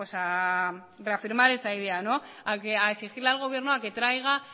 a reafirmar esa idea a exigirle al gobierno a que traiga